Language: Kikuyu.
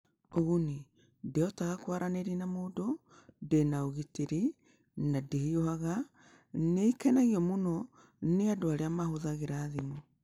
Ũguni: Ndĩhotaga kwaranĩria na mũndũ, ndĩ na ũgitĩri, na ndĩhiũhaga; nĩ ĩkenagio mũno nĩ andũ arĩa mahũthagĩra thimũ.